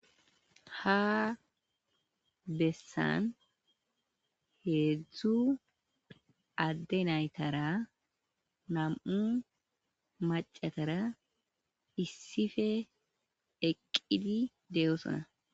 Ha bessan heedzu adde naytara nam'u maccatara eqqidi de'osona.